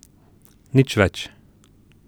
Nič več.